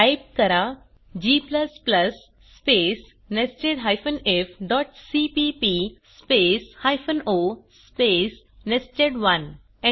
type करा g space nested ifसीपीपी space o space nested